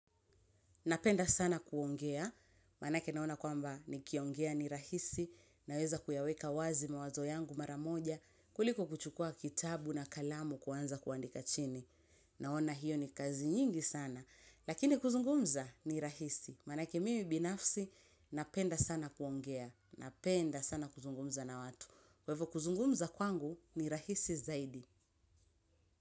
Napenda sana kuongea, maanake naona kwamba nikiongea ni rahisi, naweza kuyaweka wazi mawazo yangu maramoja, kuliko kuchukua kitabu na kalamu kwanza kuandika chini. Naona hiyo ni kazi nyingi sana, lakini kuzungumza ni rahisi. Manake mimi binafsi, napenda sana kuongea, napenda sana kuzungumza na watu. Kwa ivo kuzungumza kwangu ni rahisi zaidi.